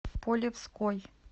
полевской